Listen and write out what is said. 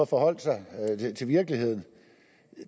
forholde sig til virkeligheden